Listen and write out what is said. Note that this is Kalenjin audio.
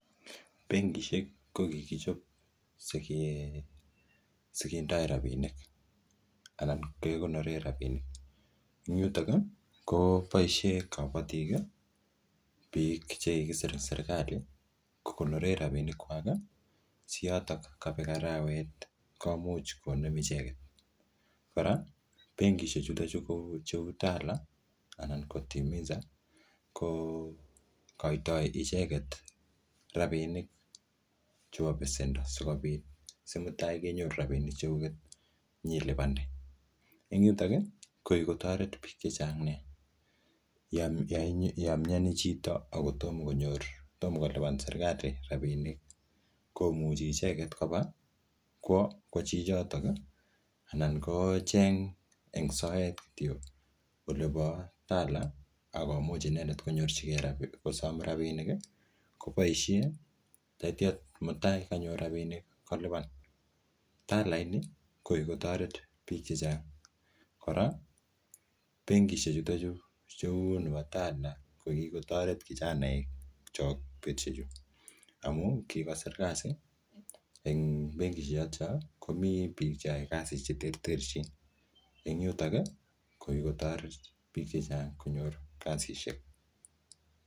Benkishek, ko kikichop sike-sikendoi rabinik, anan kekonor rabinik. Eng yutok, koboisie kabatik biik che kikisir eng serikali, kokonore rabinik kwak, si yotok kabek arawet, komuch konem icheket. Kora benkishek chutochu kou cheu TALA anan ko Timiza, ko koitoi icheket rabinik chebo besendo sikobit si mutai kenyoru rabinik cheguget, nyilipande. Eng yutok, ko kikotoret biik chechang nea. Yamyani chito, akotomo konyor, tomo kolipan serikali rabinik, komuchi icheket koba kwo chichotok, anan kocheng eng soet kityo olebo TALA, akomuch inendet konyorchikei rabinik, kosom rabinik, koboisie tatya mutai kanyor rabinik, kolipan. TALA inii, ko kikotoret biik chechang. Kora, benkishek chutochu cheu chebo TALA ko kikotoret kijanaek chok betushek chuu. Amu kikosir kasi eng benkishek chotocho, komii biik che ae kasi che terterchin. Eng yutok, ko kikotoret biik chechang konyor kasishek